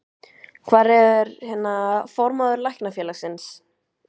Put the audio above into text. Hvar er, hérna, formaður Læknafélagsins?